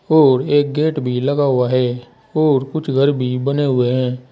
और एक गेट भी लगा हुआ है और कुछ घर भी बने हुए हैं।